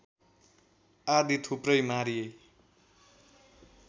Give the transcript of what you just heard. आदि थुप्रै मारिए